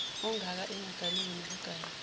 ongaka engaganiwe nokuganwa